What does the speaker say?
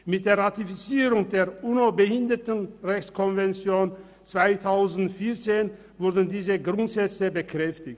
Diese Grundsätze wurden mit der Ratifizierung der UNOBehindertenrechtskonvention (UNO-BRK) im Jahr 2014 bekräftigt.